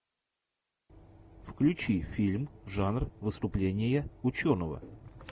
включи фильм жанр выступление ученого